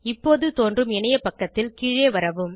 இப்போது தோன்றும் இணையப்பக்கத்தில் கீழே வரவும்